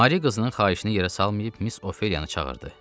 Mari qızının xahişini yerə salmayıb, Miss Ofeliyanı çağırdı.